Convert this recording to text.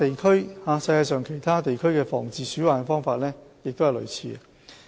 世界上其他地區的防治鼠患方法亦相類似。